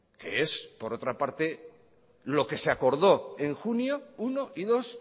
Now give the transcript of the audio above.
que es por otra parte lo que se acordó en junio uno y dos